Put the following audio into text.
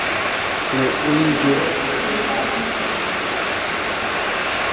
ne o ntjodietsa ha o